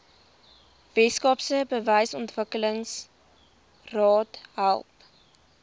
weskaapse behuisingsontwikkelingsraad help